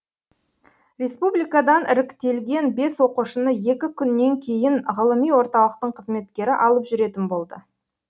республикадан іріктелген бес оқушыны екі күннен кейін ғылыми орталықтың қызметкері алып жүретін болды